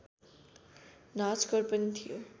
नाचघर पनि थियो